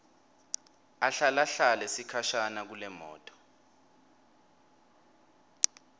ahlalahlale sikhashana kulemoto